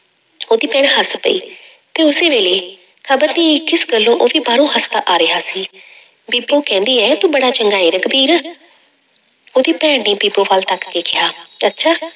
ਉਹਦੀ ਭੈਣ ਹੱਸ ਪਈ ਤੇ ਉਸੇ ਵੇਲੇ ਕਿਸ ਗੱਲੋਂ ਉਹ ਵੀ ਬਾਹਰੋਂ ਹੱਸਦਾ ਆ ਰਿਹਾ ਸੀ ਬੀਬੋ ਕਹਿੰਦੀ ਹੈ ਤੂੰ ਬੜਾ ਚੰਗਾ ਹੈ ਰਘਬੀਰ, ਉਹਦੀ ਭੈਣ ਨੇ ਬੀਬੋ ਵੱਲ ਤੱਕ ਕੇ ਕਿਹਾ, ਅੱਛਾ